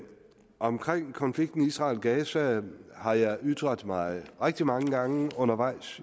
omkring konflikten israel gaza har jeg ytret mig rigtig mange gange undervejs